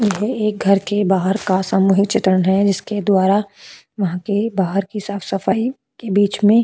एक घर के बाहर का सामूहिक चित्रण है जिसके द्वारा वहां के बाहर की साफ सफाई के बीच में।